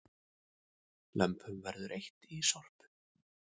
Lömpum verður eytt í Sorpu